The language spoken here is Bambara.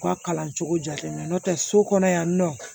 U ka kalan cogo jalen don n'o tɛ so kɔnɔ yan nɔ